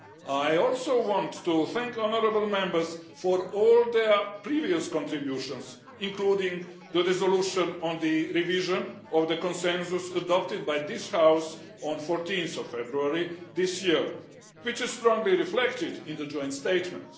I also want to thank honourable Members for all their previous contributions, including the resolution on the revision of the Consensus adopted by this House on 14 February this year, which is strongly reflected in the joint statement.